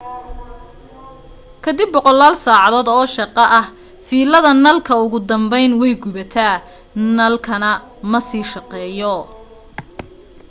kadib boqolaal saacadood oo shaqo ah fiilada nalka ugu dambayn way gubataa nalkana ma sii shaqeeyo